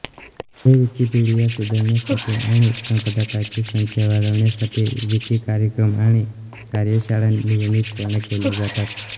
हे विकिपीडिया सुधारण्यासाठी आणि संपादकांची संख्या वाढविण्यासाठी विकी कार्यक्रम आणि कार्यशाळा नियमितपणे केल्या जातात